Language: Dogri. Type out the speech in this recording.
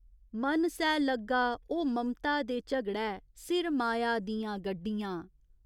मन सै लग्गा ओ ममता दे झगड़ै सिर माया दियां गड्डियां।